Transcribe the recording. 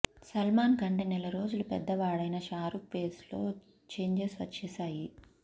సల్మాన్ కంటే నెల రోజులు పెద్దవాడైన షారూక్ ఫేస్లో ఛేంజెస్ వచ్చేశాయి